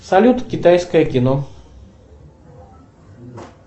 салют китайское кино